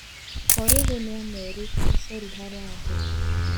Korĩrĩ nĩamerĩte cori harambĩ.